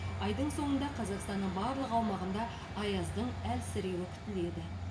айдың соңында қазақстанның барлық аумағында аяздың әлсіреуі күтіледі